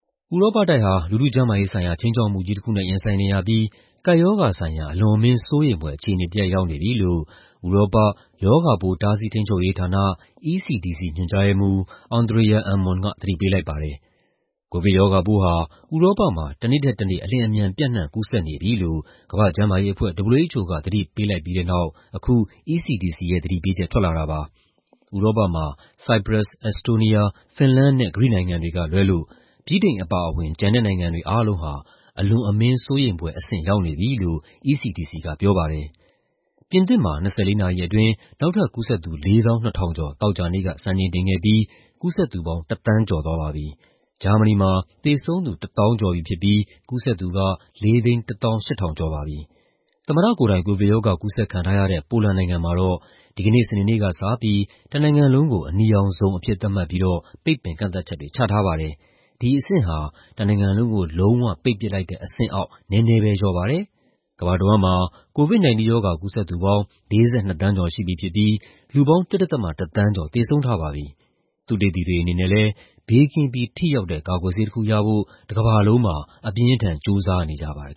ဥရောပတိုက်ဟာ လူထုကျန်းမာရေးဆိုင်ရာ ခြိမ်းခြောက်မှုကြီးတခုနဲ့ ရင်ဆိုင်နေရပြီး ကပ်ရောဂါဆိုင်ရာ အလွန်အမင်း စိုးရိမ်ဖွယ် အခြေအနေတရပ် ရောက်နေပြီလို့ ဥရောပ ရောဂါပိုး တားဆီးထိန်းချုပ်ရေးဌာန (ECDC) ညွှန်ကြားရေးမှူး Andrea Ammon က သတိပေးလိုက်ပါတယ်။ ကိုဗစ်ရောဂါပိုးဟာ ဥရောပမှာ တနေ့ထက်တနေ့ အလျှင်အမြန် ပျံ့နှံ့ကူးစက်နေပြီလို့ ကမ္ဘာ့ကျန်းမာရေးအဖွဲ့ (WHO) က သတိပေးလိုက်ပြီးတဲ့နောက် အခု ECDC ရဲ့ သတိပေးချက် ထွက်လာတာပါ။ ဥရောပမှာ ဆိုက်ပရပ်စ်၊ အက်စ်တိုးနီးယား၊ ဖင်လန်နဲ့ ဂရိနိုင်ငံတွေကလွဲလို့ ဗြိတိန်အပါအဝင် ကျန်တဲ့နိုင်ငံတွေအားလုံးဟာ ‘အလွန်အမင်း စိုးရိမ်ဖွယ်’ အဆင့် ရောက်နေပြီလို့ ECDC က ပြောပါတယ်။ ပြင်သစ်မှာ ၂၄ နာရီအတွင်း နောက်ထပ်ကူးစက်သူ ၄၂,၀၀၀ ကျော် သောကြာနေ့က စံချိန်တင်ခဲ့ပြီး ကူးစက်သူပေါင်း ၁ သန်းကျော်သွားပါပြီ။ ဂျာမနီမှာ သေဆုံးသူ ၁၀,၀၀၀ ကျော်သွားပြီး ကူးစက်သူက ၄၁၈,၀၀၀ ကျော်ပါပြီ။ သမ္မတကိုယ်တိုင် ကိုဗစ်ရောဂါ ကူးစက်ခံထားရတဲ့ ပိုလန်နိုင်ငံမှာတော့ ဒီကနေ့ စနေနေ့ကစပြီး တနိုင်ငံလုံးကို ‘အနီရောင်ဇုန်’ အဖြစ် သတ်မှတ်ပြီး ပိတ်ပင်ကန့်သတ်ချက်တွေ ချထားပါတယ်။ ဒါဟာ တနိုင်ငံလုံးကို လုံးဝ ပိတ်ပစ်လိုက်တဲ့အဆင့်အောက် နည်းနည်းပဲလျော့ပါတယ်။ ကမ္ဘာတဝန်းမှာ COVID-19 ရောဂါ ကူးစက်သူပေါင်း ၄၂ သန်းကျော် ရှိပြီဖြစ်ပြီး လူပေါင်း ၁.၁ သန်းကျော် သေဆုံးထားပြီဖြစ်ပါတယ်။ သုတေသီတွေကလည်း ဘေးကင်းပြီး ထိရောက်တဲ့ ကာကွယ်ဆေးတခုရဖို့ တကမ္ဘာလုံးမှာ အပြင်းအထန် ကြိုးစားနေကြပါတယ်